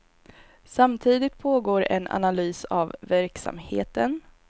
Samtidigt pågår en analys av verksamheten.